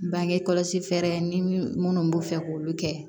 Bange kɔlɔsi fɛɛrɛ ni minnu b'u fɛ k'olu kɛ